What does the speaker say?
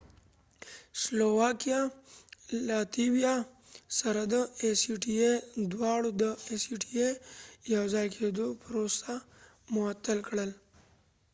لیتويا latviaاو سلواکېا slovakia دواړو د ای سی ټی ای acta سره د یو ځای کېدو پروسه معطل کړه